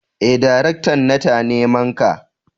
eh daraktan nata nimanka.